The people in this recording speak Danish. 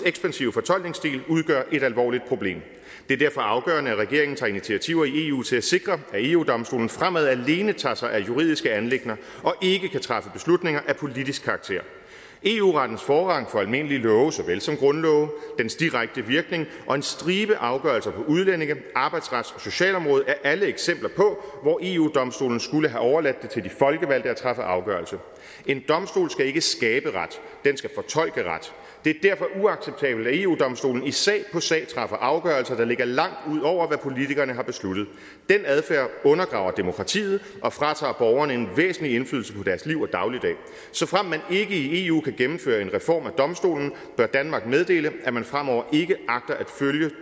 ekspansive fortolkningsstil udgør et alvorligt problem det er derfor afgørende at regeringen tager initiativer i eu til at sikre at eu domstolen fremover alene tager sig af juridiske anliggender og ikke kan træffe beslutninger af politisk karakter eu rettens forrang for almindelige love såvel som grundlove dens direkte virkning og en stribe afgørelser på udlændinge arbejdsrets og socialområdet er alle eksempler på hvor eu domstolen skulle have overladt det til de folkevalgte at træffe afgørelse en domstol skal ikke skabe ret den skal fortolke ret det er derfor uacceptabelt at eu domstolen i sag på sag træffer afgørelser der ligger langt ud over hvad politikerne har besluttet den adfærd undergraver demokratiet og fratager borgerne en væsentlig indflydelse på deres liv og dagligdag såfremt man ikke i eu kan gennemføre en reform af domstolen bør danmark meddele at man fremover ikke agter at følge